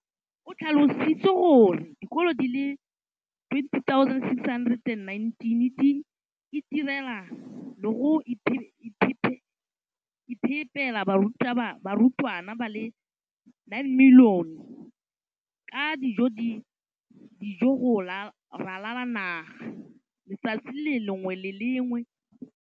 o tlhalositse gore dikolo di le 20 619 di itirela le go iphepela barutwana ba le 9 032 622 ka dijo go ralala naga letsatsi le lengwe le le lengwe.